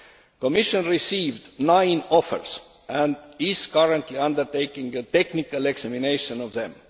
The Commission received nine offers and is currently undertaking a technical examination of them.